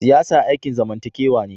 Siyasa aikin zamantakewa ne.